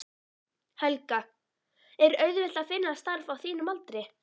Helga: Er auðvelt að finna starf á þínum aldri?